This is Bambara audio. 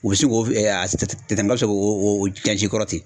U bɛ se k'o n ka se k'o jansi kɔrɔ ten